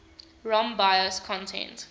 rom bios content